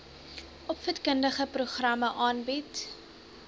opvoedkundige programme aanbied